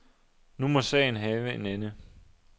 Nu må sagen have en ende.